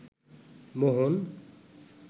মোহন